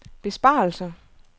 besparelser